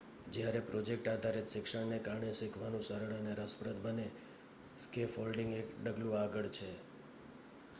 જ્યારે પ્રોજેક્ટ આધારિત શિક્ષણ ને કારણે શીખવાનું સરળ અને રસપ્રદ બને સ્કેફોલ્ડિંગ એક ડગલું આગળ છે